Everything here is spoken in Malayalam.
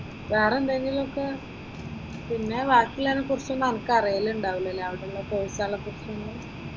വെറെ എന്തെങ്കിലുമൊക്കെ പിന്നെ ബാക്കി അതിനെക്കുറിച്ചൊന്നും നമ്മക്ക് അറിയലുണ്ടാകില്ലലോ അവിടെയുള്ള കോഴ്സ്ക്കളെ കുറിച്ചൊന്നും.